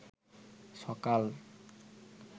সকাল